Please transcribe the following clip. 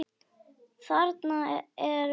Þarna er visst flæði.